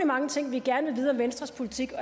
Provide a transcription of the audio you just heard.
mange ting vi gerne vil vide om venstres politik og